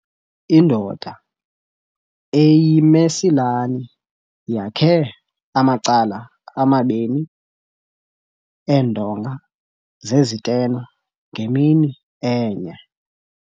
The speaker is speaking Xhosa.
Indoda eyimesilani yakhe amacala amabini eendonga zezitena ngemini enye.